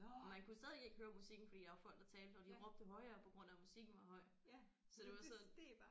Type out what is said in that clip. Man kunne stadig ikke høre musikken fordi der var folk der talte og de råbte højere på grund af musikken var høj så det var sådan